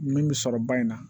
Min bɛ sɔrɔ ba in na